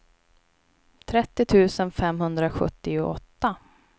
trettio tusen femhundrasjuttioåtta